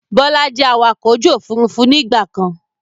Bọlá jẹ́ awakọ̀ ojú Òfurufú ni ìgbàkan.